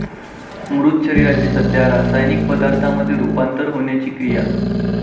मृत शरीराचे सध्या रासायनिक पदार्थामध्ये रूपांतर होण्याची क्रिया.